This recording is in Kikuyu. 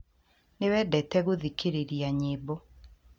Nĩ uendete gũthikĩrĩria nyimbo